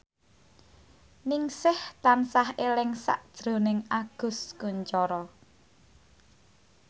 Ningsih tansah eling sakjroning Agus Kuncoro